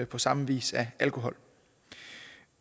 på samme vis af alkohol